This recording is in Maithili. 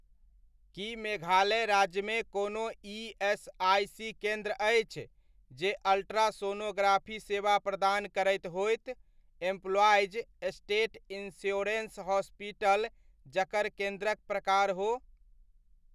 की मेघालय राज्यमे कोनो ईएसआइसी केन्द्र अछि, जे अल्ट्रासोनोग्राफी सेवा प्रदान करैत होइत, एम्प्लॉइज स्टेट इन्श्योरन्स हॉस्पिटल जकर केन्द्रक प्रकार हो?